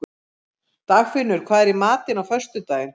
Dagfinnur, hvað er í matinn á föstudaginn?